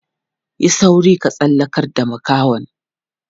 Yi sauri ka tsallakar da makahon.